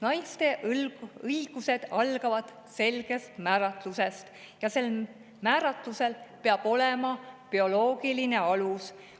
Naiste õigused algavad selgest määratlusest ja sel määratlusel peab olema bioloogiline alus.